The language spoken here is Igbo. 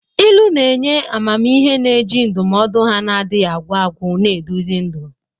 Ilu na-enye amamihe, na-eji ndụmọdụ ha na-adịghị agwụ agwụ na-eduzi ndụ.